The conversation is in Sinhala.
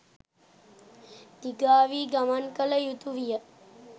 දිගාවී ගමන් කළ යුතුවිය